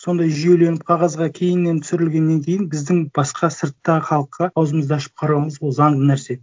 сондай жүйеленіп қағазға кейіннен түсірілгеннен кейін біздің басқа сырттағы халыққа ауызымызды ашып қарауымыз ол заңды нәрсе